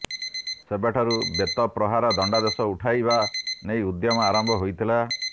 ସେବେଠାରୁ ବେତପ୍ରହାର ଦଣ୍ଡାଦେଶ ଉଠାଇବା ନେଇ ଉଦ୍ୟମ ଆରମ୍ଭ ହୋଇଥିଲା